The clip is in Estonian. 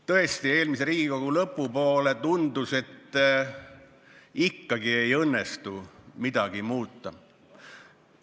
Tõesti, eelmise Riigikogu volituste aja lõpupoole tundus, et ikkagi ei õnnestu midagi muuta.